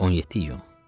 17 iyul.